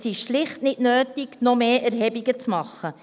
Es ist schlicht unnötig, noch mehr Erhebungen zu machen.